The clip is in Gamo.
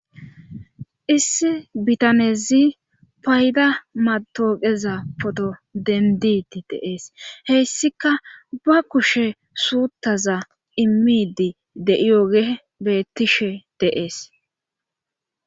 issi bitanezi payda matooqeza poto denditi deees heyssika ba kushe suuttaza immidi de7iyoge beettishe deees